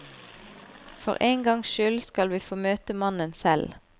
For en gangs skyld skal vi få møte mannen selv.